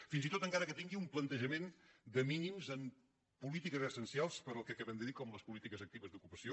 fins i tot encara que tingui un plantejament de mínims en polítiques essencials per al que acabem de dir com les polítiques actives d’ocupació